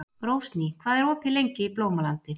Rósný, hvað er opið lengi í Blómalandi?